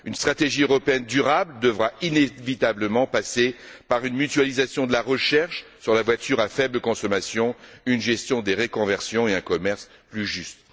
Une stratégie européenne durable devra inévitablement passer par une mutualisation de la recherche sur la voiture à faible consommation, une gestion des reconversions et un commerce plus juste.